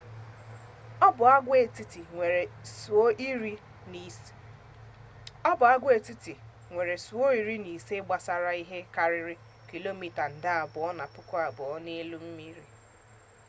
ọ bụ agwaetiti nwere isuo iri na ise gbasara ihe karịrị kilomita nde abụo na puku abụọ n'elu mmiri